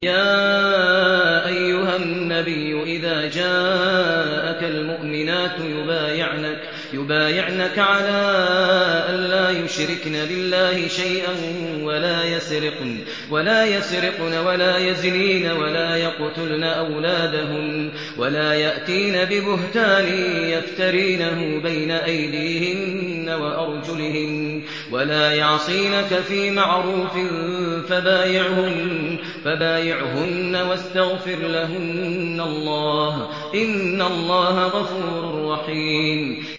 يَا أَيُّهَا النَّبِيُّ إِذَا جَاءَكَ الْمُؤْمِنَاتُ يُبَايِعْنَكَ عَلَىٰ أَن لَّا يُشْرِكْنَ بِاللَّهِ شَيْئًا وَلَا يَسْرِقْنَ وَلَا يَزْنِينَ وَلَا يَقْتُلْنَ أَوْلَادَهُنَّ وَلَا يَأْتِينَ بِبُهْتَانٍ يَفْتَرِينَهُ بَيْنَ أَيْدِيهِنَّ وَأَرْجُلِهِنَّ وَلَا يَعْصِينَكَ فِي مَعْرُوفٍ ۙ فَبَايِعْهُنَّ وَاسْتَغْفِرْ لَهُنَّ اللَّهَ ۖ إِنَّ اللَّهَ غَفُورٌ رَّحِيمٌ